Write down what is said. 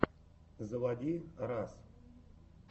заводи раз